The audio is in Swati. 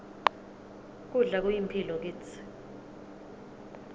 kudla kuyimphilo kitsi